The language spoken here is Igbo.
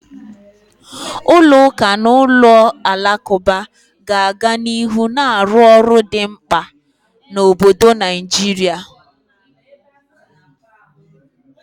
Ụlọ ụka na ụlọ alakụba ga-aga n'ihu na-arụ ọrụ dị mkpa na obodo Naijiria.